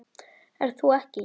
Ert þú ekki